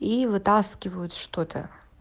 и вытаскивают что-то